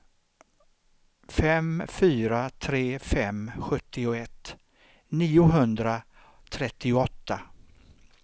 fem fyra tre fem sjuttioett niohundratrettioåtta